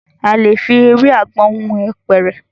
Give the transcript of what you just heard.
A lè fi ewé àgbọn hun apẹ̀rẹ̀.